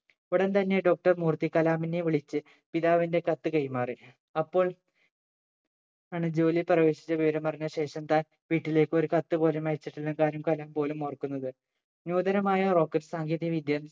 ഉടൻ തന്നെ doctor മൂർത്തി കലാമിനെ വിളിച്ച് പിതാവിന്റെ കത്ത് കൈമാറി അപ്പോൾ ആണ് ജോലി പ്രവേശിച്ച വിവരം അറിഞ്ഞ ശേഷം താൻ വീട്ടിലേക്ക് ഒരു കത്തു പോലും അയച്ചിട്ടില്ലന്ന കാര്യം കലാം പോലും ഓർക്കുന്നത് ന്യൂതനമായ rocket സാങ്കേതിക വിദ്യ